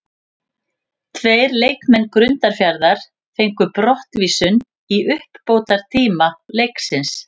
Tveir leikmenn Grundarfjarðar fengu brottvísun í uppbótartíma leiksins.